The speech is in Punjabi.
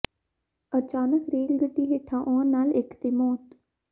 ਅਚਾਨਕ ਰੇਲ ਗੱਡੀ ਹੇਠਾਂ ਆਉਣ ਨਾਲ ਇੱਕ ਦੀ ਮੌਤ